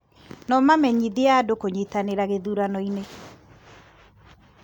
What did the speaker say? No mamenyithie andũ kũnyitanĩra gĩthurano-inĩ